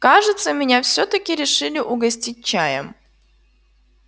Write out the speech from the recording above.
кажется меня всё-таки решили угостить чаем